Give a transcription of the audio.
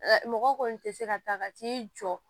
Mɔgɔ kɔni tɛ se ka taa ka t'i jɔ